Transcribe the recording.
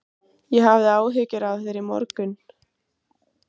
Ég hafði áhyggjur af þér í morgun.